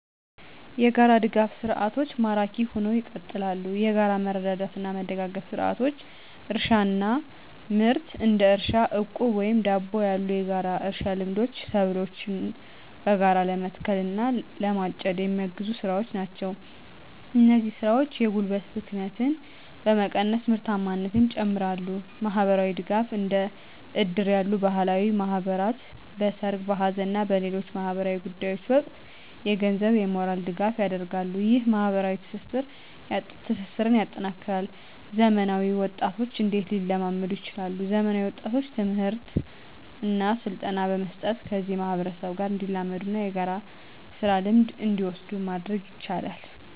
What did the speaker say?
**የጋራ ድጋፍ ሰርዓቶች ማራኪ ሁነው ይቀጥላሉ፤ የጋራ መረዳዳትና መደጋገፍ ስርዓቶች: * እርሻና ምርት: እንደ እርሻ ዕቁብ ወይም ደቦ ያሉ የጋራ እርሻ ልምዶች ሰብሎችን በጋራ ለመትከል እና ለማጨድ የሚያግዙ ስራዎች ናቸው። እነዚህ ስራዎች የጉልበት ብክነትን በመቀነስ ምርታማነትን ይጨምራሉ። * ማህበራዊ ድጋፍ: እንደ እድር ያሉ ባህላዊ ማህበራት በሠርግ፣ በሐዘን እና በሌሎች ማኅበራዊ ጉዳዮች ወቅት የገንዘብና የሞራል ድጋፍ ያደርጋሉ። ይህ ማኅበራዊ ትስስርን ያጠናክራል። *ዘመናዊ ወጣቶች እንዴት ሊላመዱ ይችላሉ፤ ዘመናዊ ወጣቶችን ትምህርትና ስልጠና በመስጠት ከዚህ ማህበረሰብ ጋር እንዲላመዱና የጋራ ስራ ልምድን እንዲወስዱ ማድረግ ይቻላል።